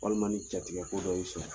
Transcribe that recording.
Walima ni jatigɛ ko dɔ y'i sɔrɔ